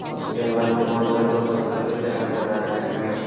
उसके बाद में बहोत सारे लोग चलते फिरते नजर आ रहे हैं।